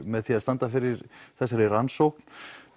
með því að standa fyrir þessari rannsókn